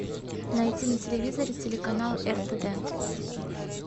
найти на телевизоре телеканал ртд